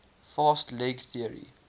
fast leg theory